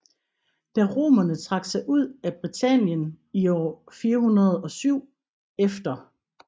Da romerne trak sig ud af Britannien i år 407 e